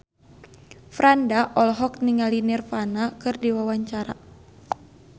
Franda olohok ningali Nirvana keur diwawancara